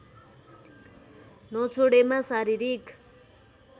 नछोडेमा शारीरिक